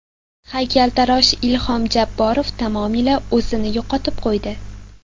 Haykaltarosh Ilhom Jabborov tamomila o‘zini yo‘qotib qo‘ydi.